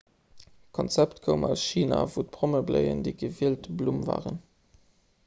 d'konzept koum aus china wou prommebléien déi gewielt blumm waren